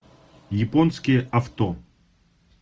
японские авто